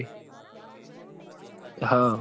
હ અ